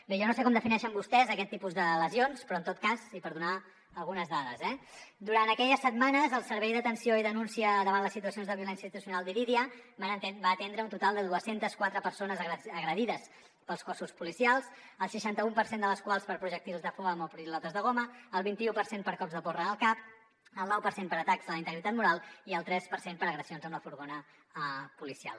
bé jo no sé com defineixen vostès aquest tipus de lesions però en tot cas i per donar algunes dades durant aquelles setmanes el servei d’atenció i denúncia davant situacions de violència institucional d’irídia va atendre un total de dos cents i quatre persones agredides pels cossos policials el seixanta un per cent de les quals per projectils de foam o pilotes de goma el vint i u per cent per cops de porra al cap el nou per cent per atacs a la integritat moral i el tres per cent per agressions amb el furgó policial